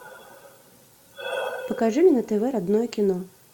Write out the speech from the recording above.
покажи мне на тв родное кино